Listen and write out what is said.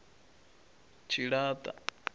tshilata